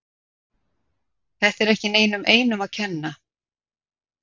Þetta er ekki neinum einum að kenna.